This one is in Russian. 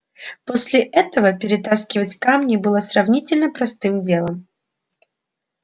после этого перетаскивать камни было сравнительно простым делом